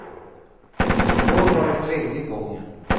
I år var det tredje gången.